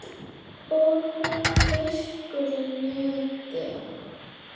Og hún fiskur í neti.